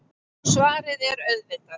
Og svarið er auðvitað